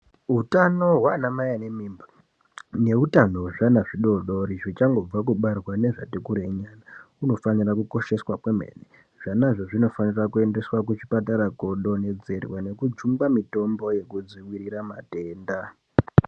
Utano hwana mai vane mimba neutano wezviana zvidodori zvichangobva kubarwa nezvati kurei nyana hunofanire kukosheswa kwemene zvanazvo zvinofanire kuendeswa kuchipatara kodonhedzerwa nekujungwe mitombo yekudzivirira matenda.